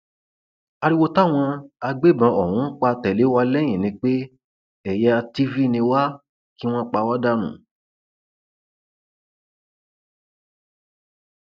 ariwo táwọn agbébọn ọhún ń pa tẹlẹ wá lẹyìn ni pé ẹyà tiv ni wá kí wọn pa wá dànù